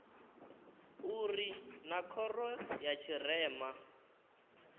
uri naa khoro ya tshirema